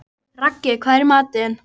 Raggi, hvað er í matinn?